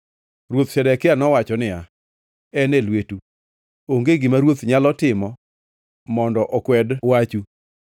Ruoth Zedekia nowacho niya, “En e lwetu. Onge gima ruoth nyalo timo mondo okwed wachu.”